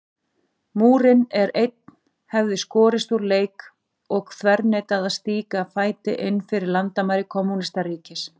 Múrinn, en einn hefði skorist úr leik og þverneitað að stíga fæti innfyrir landamæri kommúnistaríkis.